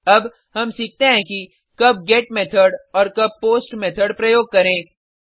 अब हम सीखते हैं कि कब गेट मेथड और कब पोस्ट मेथड प्रयोग करें